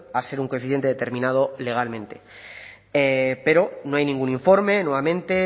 a ser un coeficiente determinado legalmente pero no hay ningún informe nuevamente